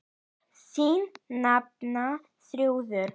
Þín nafna, Þrúður.